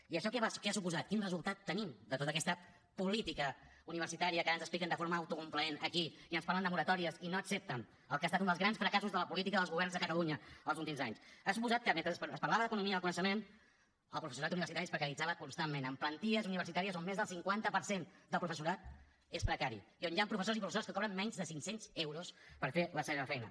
i això què ha suposat quin resultat tenim de tota aquesta política universitària que ara ens expliquen de forma autocomplaent aquí i ens parlen de moratòries i no accepten el que ha estat un dels grans fracassos de la política dels governs de catalunya els últims anys ha suposat que mentre es parlava d’economia del coneixement el professorat universitari es precaritzava constantment amb plantilles universitàries on més del cinquanta per cent del professorat és precari i on hi han professors i professores que cobren menys de cinc cents euros per fer la seva feina